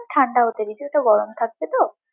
ঠান্ডা হতে দিবি, ওটা গরম থাকবে তো?